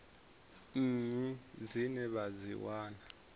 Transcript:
nnyi dzine vha dzi wana